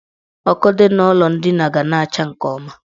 Ọkụ dị n' ụlọ ndina ga na-acha nke ọma.